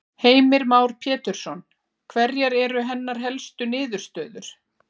Heimir Már Pétursson: Hverjar eru hennar helstu niðurstöður?